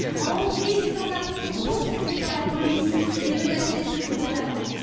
En Hongrie, les sans abris sont pourchassés par la police et menacés de lourdes amendes.